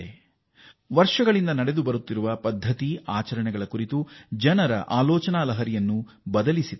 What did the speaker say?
ಹಲವಾರು ವರ್ಷಗಳಿಂದ ಬೇರು ಬಿಟ್ಟಿದ್ದ ಜನರ ಸಾಂಪ್ರದಾಯಿಕ ನಂಬಿಕೆ ಮತ್ತು ಆಚಾರಗಳಿಗೆ ಸಂಬಂಧಿಸಿದ ಆಲೋಚನೆಯಲ್ಲಿ ಬದಲಾವಣೆಯನ್ನೂ ತಂದಿದೆ